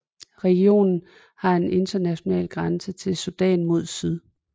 Regionen har en international grænse til Sudan mod syd